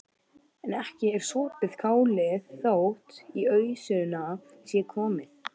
En ekki er sopið kálið þótt í ausuna sé komið.